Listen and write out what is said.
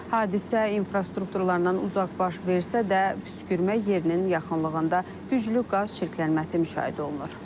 Hadisə infrastrukturundan uzaq baş versə də, püskürmə yerinin yaxınlığında güclü qaz çirklənməsi müşahidə olunur.